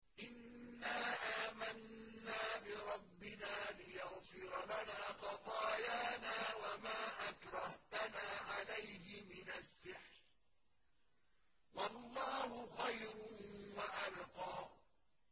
إِنَّا آمَنَّا بِرَبِّنَا لِيَغْفِرَ لَنَا خَطَايَانَا وَمَا أَكْرَهْتَنَا عَلَيْهِ مِنَ السِّحْرِ ۗ وَاللَّهُ خَيْرٌ وَأَبْقَىٰ